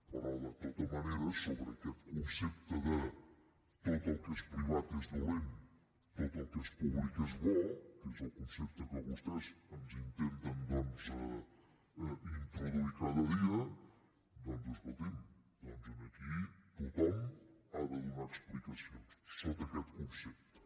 però de tota manera sobre aquest concepte de tot el que és privat és dolent tot el que és públic és bo que és el concepte que vostès ens intenten doncs introduir cada dia escoltin aquí tothom ha de donar explicacions sota aquest concepte